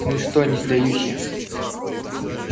ну и что не сдаюсь я